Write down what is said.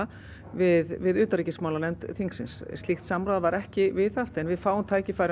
við utanríkismálanefnd þingsins slíkt samráð var ekki viðhaft en við fáum tækifæri